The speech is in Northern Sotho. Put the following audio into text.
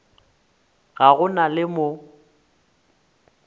ga go na le mo